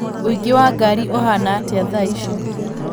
ũingĩ wa ngari ũhana atĩa thaa ici